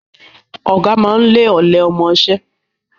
Ọ̀gá máa ń lé ọ̀lẹ ọmọṣẹ́